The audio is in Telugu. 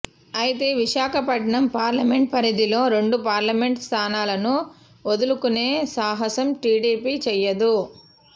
అయితే విశాఖపట్నం పార్లమెంట్ పరిధిలో రెండు పార్లమెంట్ స్థానాలను వదులుకునే సాహసం టీడీపీ చెయ్యదు